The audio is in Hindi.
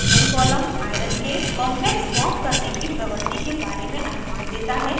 spin column iron iron के complex फॉर्म करने की प्रवृति के बारे में अनुमान देता है